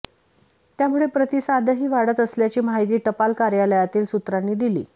त्यामुळे प्रतिसादही वाढत असल्याची माहिती टपाल कार्यालयातील सुत्रांनी दिली